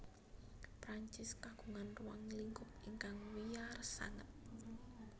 Perancis kagungan ruang lingkup ingkang wiyar sanget